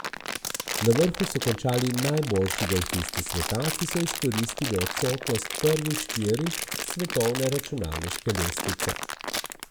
Na vrhu so končali najboljši golfisti sveta, ki so izkoristili odsotnost prvih štirih s svetovne računalniške lestvice.